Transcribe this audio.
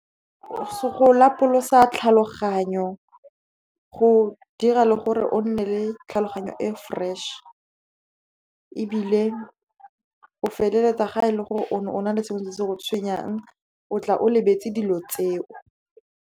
Go lapolosa tlhaloganyo, go dira le gore o nne le tlhaloganyo e fresh, ebile o feleletsa ga e le gore o ne o na le sengwe se se go tshwenyang, o tla o lebetse dilo tseo.